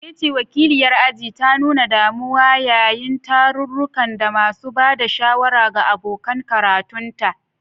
Nkechi, wakiliyar aji, ta nuna damuwa yayin tarurruka da masu ba da shawara ga abokan karatunta.